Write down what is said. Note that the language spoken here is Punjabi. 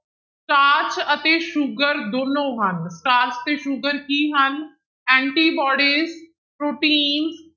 ਸਟਾਰਚ ਅਤੇ ਸ਼ੂਗਰ ਦੋਨੋਂ ਹਨ, ਸਟਾਰਚ ਤੇ ਸ਼ੂਗਰ ਕੀ ਹਨ antibody ਪ੍ਰੋਟੀਨ